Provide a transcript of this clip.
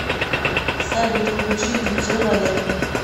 салют включи диджей валер